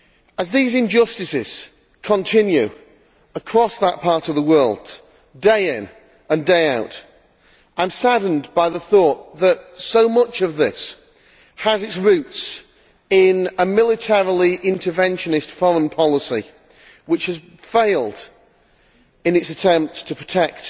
As these injustices continue across that part of that world, day in and day out, I am saddened by the thought that so much of this has its roots in a militarily interventionist foreign policy which has failed in its attempt to protect